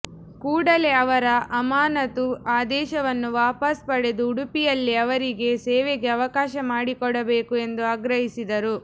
ಕೂಡಲೇ ಅವರ ಅಮಾನತು ಆದೇಶವನ್ನು ವಾಪಾಸು ಪಡೆದು ಉಡುಪಿಯಲ್ಲೇ ಅವರಿಗೆ ಸೇವೆಗೆ ಅವಕಾಶ ಮಾಡಿಕೊಡಬೇಕು ಎಂದು ಆಗ್ರಹಿಸಿದರು